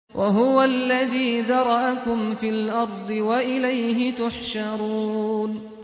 وَهُوَ الَّذِي ذَرَأَكُمْ فِي الْأَرْضِ وَإِلَيْهِ تُحْشَرُونَ